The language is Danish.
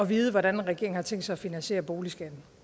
vide hvordan regeringen har tænkt sig at finansiere boligskatten